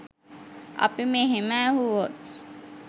අපි මෙහෙම ඇහුවොත්